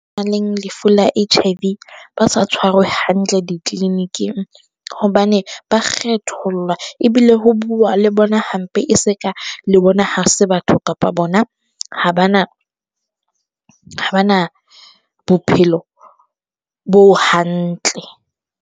Lefu la H_I_V ba sa tshwarwe hantle di-clinic-ing, hobane ba kgethollwa ebile ho bua le bona hampe, e se ka le bona ha se batho kapa bona ha ba na, ha ba na bophelo bo hantle.